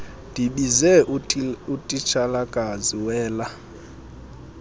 ndibize utitshalakazi wela